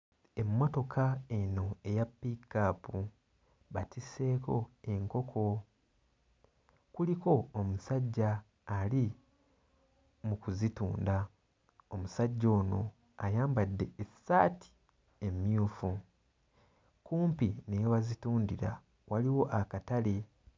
Emmotoka eno eya pick-up batisseeko enkoko kuliko omusajja ali mu kuzitunda omusajja ono ayambadde essaati emmyufu kumpi ne we bazitundira waliwo akatale.